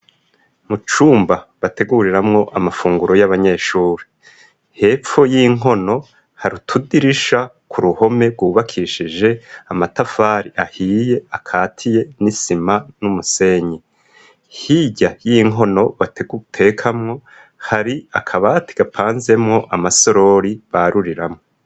Mu cumba bateguriramwo amafunguro y'abanyeshure, hepfo y'inkono hari utudirisha ku ruhome rwubakishije amatafari ahiye akatiye n'isima n'umusenyi, hirya y'inkono batekamwo hari akabati gapanzemwo amasorori baruriramwo.